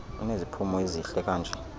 uneziphumo ezihle kanje